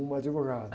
Um advogado.